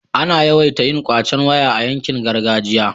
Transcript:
ana yawaita yin kwacen waya a yankin gargajiya